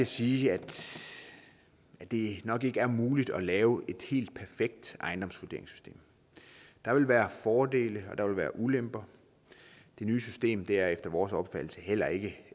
sige at det nok ikke er muligt at lave et helt perfekt ejendomsvurderingssystem der vil være fordele og der vil være ulemper det nye system er efter vores opfattelse heller ikke